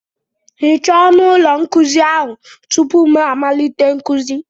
Hichaa ọnụ ụlọ nkuzi ahụ tupu m malite nkuzi!